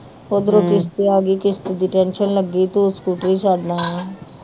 ਉਧਰੋਂ ਕਿਸਤ ਆਗੀ ਕਿਸਤ ਦੀ ਟੈਨਸ਼ਨ ਲੱਗੀ ਤੂੰ ਸਕੂਟਰੀ ਛੱਡ ਆਇਆ